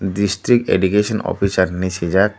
district education officer hinui sijak.